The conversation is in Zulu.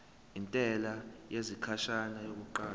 intela yesikhashana yokuqala